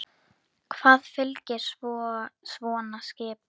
Hvað fylgir svo svona skipum?